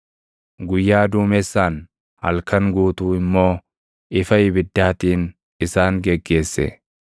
Guyyaa duumessaan, halkan guutuu immoo ifa ibiddaatiin isaan geggeesse.